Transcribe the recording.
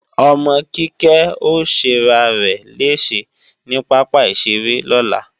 Ọmọ Kíkẹ́ ó ṣẹrarẹ̀ léèṣẹ ní pápá ìṣeré lọ́la